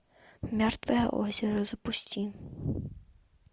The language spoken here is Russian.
мертвое озеро запусти